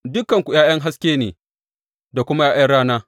Dukanku ’ya’yan haske ne da kuma ’ya’yan rana.